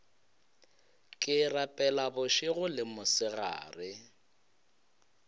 ke rapela bošego le mosegare